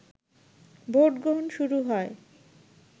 ভোটগ্রহণ শুরু হয়